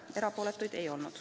Erapooletuid ei olnud.